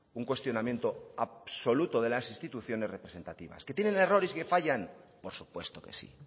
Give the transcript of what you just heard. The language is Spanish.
un cuestionamiento absoluto de las instituciones representativas que tienen errores y fallan por supuesto que sí